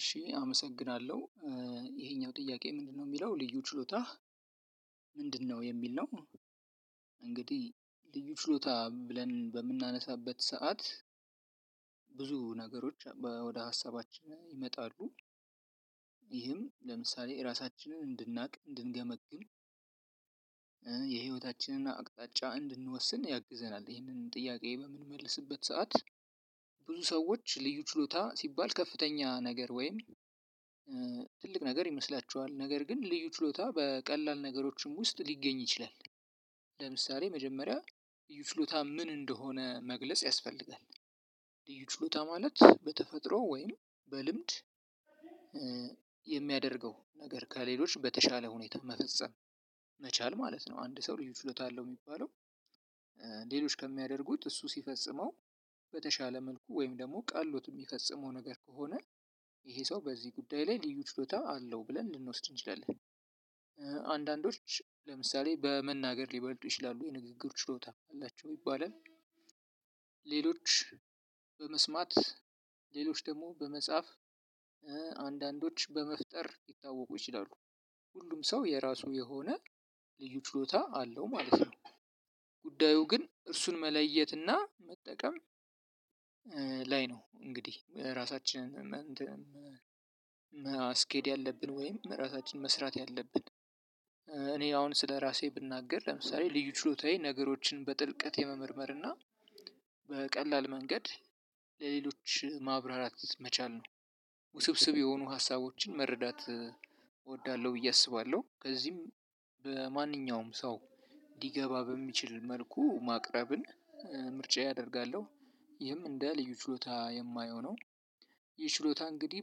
እሺ አመሰግናለሁ ይሄኛው ጥያቄ ምንድነው የሚለው ልዩ ችሎታህ? ምንድነው የሚል ነው እንግዲህ ልዩ ችሎታ ብለን በምናነሳበት ሰዓት ብዙ ነገሮች ወደ ሀሳባችን ይመጣሉ። ይህም ለምሳሌ ራሳችንን እንድናውቅ እንድንገመግም። የህይወታችንን አቅጣጫ እንድንወስን ያግዘናል ይህንን ጥያቄ በምንመልስበት ሰዓት። ብዙ ሰዎች ልዩ ችሎታ ሲባል ከፍተኛ ነገር ወይም ትልቅ ነገር ይመስላቸዋል ነገር ግን ልዩ ችሎታ በቀላል ነገሮችም ውስጥ ሊገኝ ይችላል። ለምሳሌ መጀመሪያ ይዩ ችሎታ ምን እንደሆነ መግለጽ ያስፈልጋል። ልዩ ችሎታ ማለት በተፈጥሮ ወይም በልምድ የሚያደርገው ነገር ከሌሎች በተሻለ ሁኔታ መፈጸም መቻል ማለት ነው። አንድ ሰው ልዩ ችሎታ አለው የሚባለው። ሌሎች ከሚያደርጉት እሱ ሲፈጽመው በተሻለ መልኩ ወይም ደግሞ ቀሎት የሚፈጽመው ነገር ከሆነ። ይሄ ሰው በዚህ ጉዳይ ላይ ልዩ ችሎታ አለው ብለን ልንወስድ እንችላለን። አንዳንዶች ለምሳሌ በመናገር ሊበልጡ ይችላሉ የንግግር ችሎታ አላቸው ይባላል። ሌሎች በመስማት ሌሎች ደግሞ በመጻፍ አንዳንዶች በመፍጠር ሊታወቁ ይችላሉ። ሁሉም ሰው የራሱ የሆነ ልዩ ችሎታ አለው ማለት ነው። ጉዳዩ ግን እሱን መለየት እና መጠቀም ላይ ነው እንግዲህ ራሳችንን ማስኬድ ያለብን ወይም ራሳችንን መስራት ያለብን። እኔ አሁን ስለራሴ ብናገር ለምሳሌ ልዩ ችሎታዬ ነገሮችን በጥልቀት የመመርመር እና በቀላል መንገድ ለሌሎች ማብራራት መቻል ነው። ውስብስብ የሆኑ ሀሳቦችን መረዳት እወዳለሁ ብዬ አስባለሁ በዚህም በማንኛውም ሰው ሊገባ በሚችል መልኩ ማቅረብን ምርጫዬ አደርጋለሁ። ይህም እንደ ልዩ ችሎታ የማየው ነው። ይህ ችሎታ እንግዲህ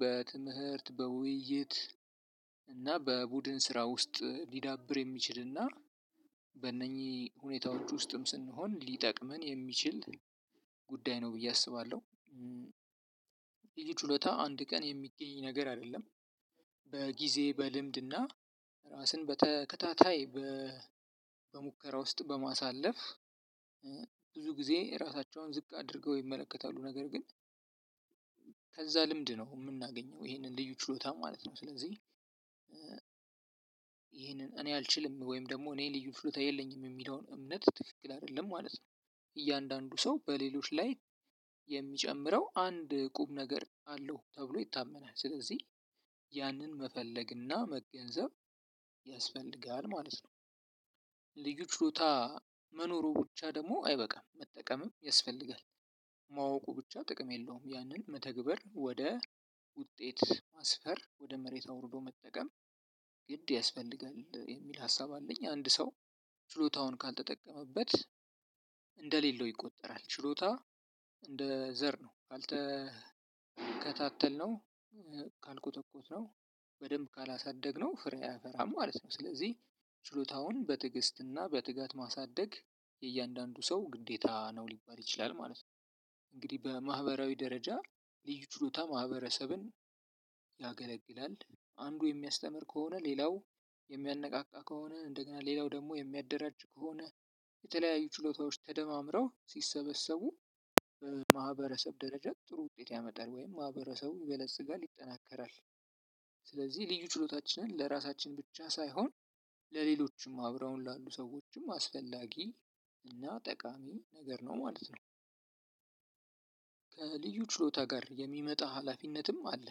በትምህርት በውይይት እና በቡድን ስራ ውስጥ ሊዳብር የሚችልና በእነኚህ ሁኔታዎች ውስጥም ስንሆን ሊጠቅመን የሚችል ጉዳይ ነው ብዬ አስባለሁ። ልዩ ችሎታ አንድ ቀን የሚገኝ ነገር አይደለም። በጊዜ በልምድና ራስን በተከታታይ በሙከራ ውስጥ በማሳለፍ ብዙ ጊዜ ራሳቸውን ዝቅ አድርገው ይመለከታሉ ነገር ግን። ከዛ ልምድ ነው የምናገኘው ይሄንን ልዩ ችሎታ ማለት ነው ስለዚህ። ይሄንን እኔ አልችልም ወይም ደግሞ እኔ ልዩ ችሎታ የለኝም የሚለውን እምነት ትክክል አይደለም ማለት ነው። እያንዳንዱ ሰው በሌሎች ላይ የሚጨምረው አንድ ቁም ነገር አለው ተብሎ ይታመናል ስለዚህ ያንን መፈለግና መገንዘብ ያስፈልጋል ማለት ነው። ልዩ ችሎታ መኖሩ ብቻ ደግሞ አይበቃም መጠቀምም ያስፈልጋል። ማወቁ ብቻ ጥቅም የለውም ያንን መተግበር ወደ ውጤት ማስፈር ወደ መሬት አውርዶ መጠቀም። ግድ ያስፈልጋል የሚል ሀሳብ አለኝ አንድ ሰው ችሎታውን ካልተጠቀመበት። እንደሌለው ይቆጠራል ችሎታ እንደ ዘር ነው ካልተከታተልነው ካልኮተኮትነው በደንብ ካላሳደግነው ፍሬ አያፈራም ማለት ነው። ስለዚህ ችሎታውን በትዕግስትና በትጋት ማሳደግ የእያንዳንዱ ሰው ግዴታ ነው ሊባል ይችላል ማለት ነው። እንግዲህ በማህበራዊ ደረጃ ልዩ ችሎታ ማህበረሰብን ያገለግላል። አንዱ የሚያስተምር ከሆነ ሌላው የሚያነቃቃ ከሆነ እንደገና ሌላው ደግሞ የሚያደራጅ ከሆነ የተለያዩ ችሎታዎች ተደማምረው ሲሰበሰቡ በማህበረሰብ ደረጃ ጥሩ ውጤት ያመጣል ወይም ማህበረሰቡን ይበለጽጋል ይጠናከራል። ስለዚህ ልዩ ችሎታችንን ለራሳችን ብቻ ሳይሆን ለሌሎችም አብረው ላሉ ሰዎችም አስፈላጊ እና ጠቃሚ ነገር ነው ማለት ነው። ከልዩ ችሎታ ጋር የሚመጣ ሀላፊነትም አለ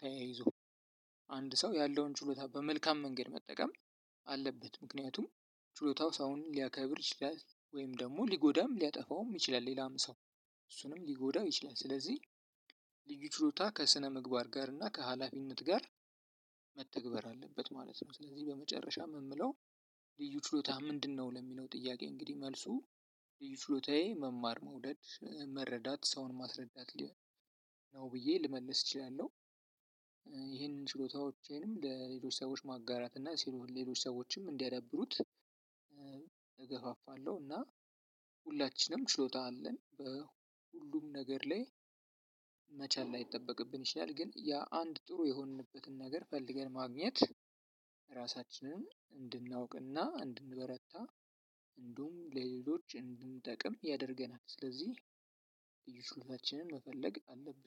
ተያይዞ አንድ ሰው ያለውን ችሎታ በመልካም መንገድ መጠቀም አለበት። ምክንያቱም ችሎታው ሰውን ሊያከብር ይችላል ወይም ደግሞ ሊጎዳም ሊያጠፋውም ይችላል ሌላም ሰው እሱንም ሊጎዳው ይችላል ስለዚህ። ልዩ ችሎታ ከስነምግባር ጋር እና ከሀላፊነት ጋር መተግበር አለበት ማለት ነው። ስለዚህ በመጨረሻም የምለው ልዩ ችሎታ ምንድነው ለሚለው ጥያቄ እንግዲህ መልሱ ልዩ ችሎታዬ መማር መውደድ መረዳት ሰውን ማስረዳት ነው ብዬ ልመልስ እችላለሁ። ይሄንን ችሎታዎቼንም ለሌሎች ሰዎች ማጋራት እና ሌሎች ሰዎችም እንዲያዳብሩት እገፋፋለሁ። እና ሁላችንም ችሎታ አለን በሁሉም ነገር ላይ መቻል ላይጠበቅብን ይችላል ግን ያ አንድ ጥሩ የሆንንበትን ነገር ፈልገን ማግኘት። ራሳችንን እንድናውቅና እንድንበረታ እንዲሁም ለሌሎች እንድንጠቅም ያደርገናል። ስለዚህ ልዩ ችሎታችንን መፈለግ አለብን